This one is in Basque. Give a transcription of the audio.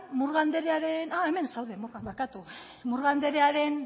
murga andrearen ah hemen zaude barkatu murga andrearen